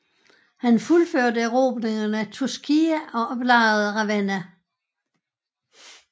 Han fuldførte erobringen af Tuscia og belejrede Ravenna